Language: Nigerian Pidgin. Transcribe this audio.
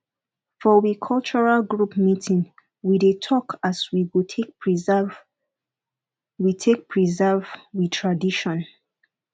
for we cultural group meeting we dey talk as we go take preserve we take preserve we tradition